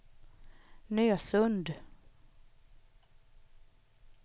Nösund